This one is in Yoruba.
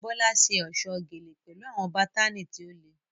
Bola ṣe ọ̀ṣọ́ gele pẹ̀lú àwọn bátánì tí ó le.